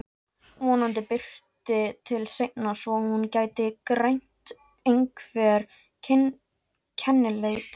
Vonandi birti til seinna svo hún gæti greint einhver kennileiti.